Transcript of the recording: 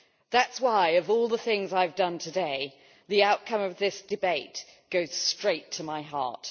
That is why, of all the things I have done today, the outcome of this debate goes straight to my heart.